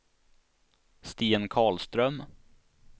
Sten Karlström